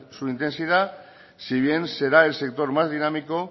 su intensidad si bien será el sector más dinámico